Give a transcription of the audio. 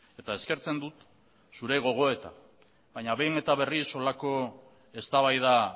eta eskertzen dut zure gogoeta baina behin eta berriz horrelako eztabaida